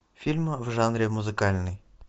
фильмы в жанре музыкальный